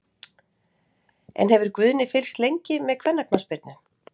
En hefur Guðni fylgst lengi með kvennaknattspyrnu?